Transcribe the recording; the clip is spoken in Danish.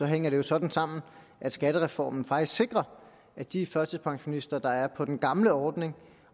hænger sådan sammen at skattereformen faktisk sikrer at de førtidspensionister der er på den gamle ordning